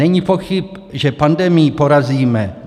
Není pochyb, že pandemii porazíme.